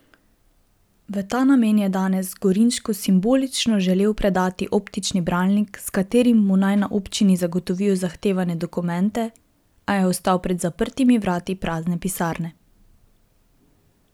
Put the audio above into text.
V ta namen je danes Gorinšku simbolično želel predati optični bralnik, s katerim naj mu na občini zagotovijo zahtevane dokumente, a je ostal pred zaprtimi vrati prazne pisarne.